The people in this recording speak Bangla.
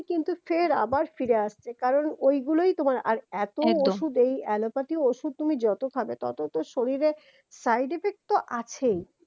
কিন্তু ফের আবার ফিরে আসছে কারণ ওই গুলোই তোমার আর এতো একদম ঔষধ এই allopathy ঔষধ তুমি যত খাবে তত তো শরীরে side effect তো আছেই